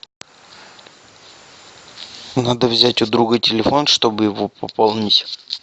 надо взять у друга телефон чтобы его пополнить